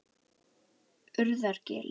Urðargili